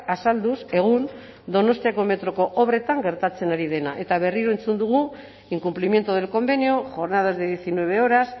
azalduz egun donostiako metroko obretan gertatzen ari dena eta berriro entzun dugu incumplimiento del convenio jornadas de diecinueve horas